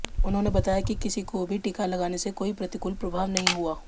उन्होंने बताया कि किसी को भी टीका लगाने से कोई प्रतिकूल प्रभाव नहीं हुआ